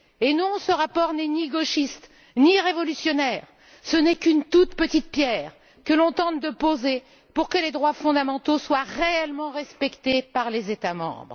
Non, ce rapport n'est ni gauchiste ni révolutionnaire ce n'est qu'une toute petite pierre que l'on tente de poser pour que les droits fondamentaux soient réellement respectés par les États membres.